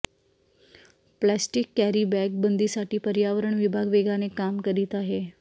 plastic carry bag बंदीसाठी पर्यावरण विभाग वेगाने काम करीत आहे